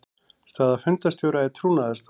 Staða fundarstjóra er trúnaðarstaða.